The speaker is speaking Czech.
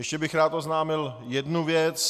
Ještě bych rád oznámil jednu věc.